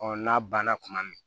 n'a banna kuma min